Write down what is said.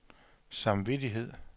samvittighed